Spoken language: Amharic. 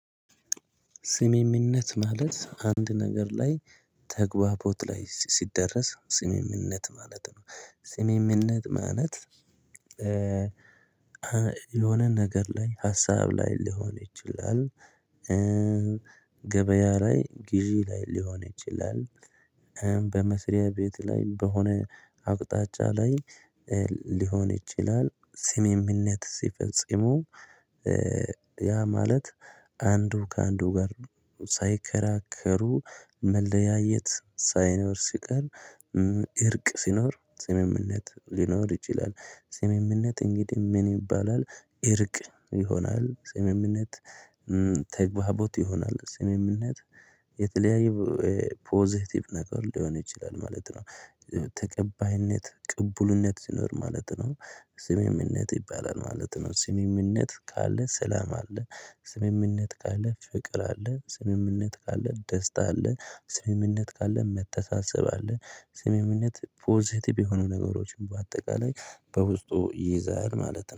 ስምምነት ማለት አንድ ነገር ላይ ተግባቦት ላይ ሲደረስ ስምምነት ማለት ነው። ስምምነት ማለት የሆነ ነገር ላይ ሀሳብ ላይ ሊሆን ይችላል። ገበያ ላይ ግዢ ላይ ሊሆን ይችላል። በመስሪያ ቤት ላይ በሆነ አቅጣጫ ላይ ሊሆን ይችላል ስምምነት ሲፈጽመው። ያ ማለት አንዱ ከአንዱ ጋር ሳይከራከሩ መለያየት ሳይኖር ሲቀር እርቅ ሲኖር ስምምነት ሊኖር ይችላል። ስምምነት እንግዲህ ምን ይባላል? እርቅ ይሆናል ስምምነት ተግባቦት ይሆናል ስምምነት የተለያዩ ፖዘቲቭ ነገር ሊሆን ይችላል ማለት ነው። ተቀባይነት ቅቡልነት ሲኖር ማለት ነው። ስምምነት ይባላል ማለት ነው ስምምነት ካለ ሰላም አለ። ስምምነት ካለ ፍቅር አለ ስምምነት ካለ ደስታ አለ ስምምነት ካለ መተሳሰብ አለ። ስምምነት ፖዘቲቭ የሆኑ ነገሮችን በአጠቃላይ በውስጡ ይይዛል ማለት ነው